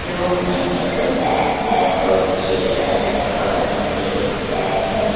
Room में एक bed है दो चेयर है बगल में भी एक बेड है।